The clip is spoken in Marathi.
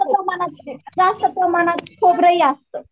जास्त प्रमाणात खोबरं जास्त.